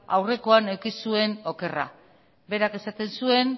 aurrekoan eduki zuen okerra berak esaten zuen